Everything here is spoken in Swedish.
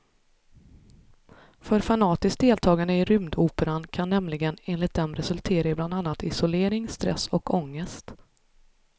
För fanatiskt deltagande i rymdoperan kan nämligen enligt dem resultera i bland annat isolering, stress och ångest.